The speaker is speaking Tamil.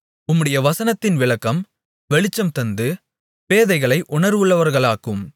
உம்முடைய வசனத்தின் விளக்கம் வெளிச்சம் தந்து பேதைகளை உணர்வுள்ளவர்களாக்கும்